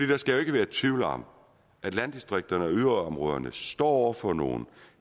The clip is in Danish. der skal jo ikke være tvivl om at landdistrikterne og yderområderne står over for nogle